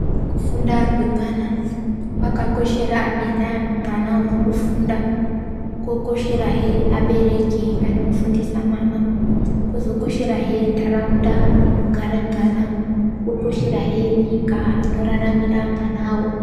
Kufunda kwemwana kwakakoshera ana urikufunda, kokosherahe abereki anofundisa mwana, kozokosherahe ntaraunda inogara mwana, kozokosherahe nyika inoraramira mwanawo.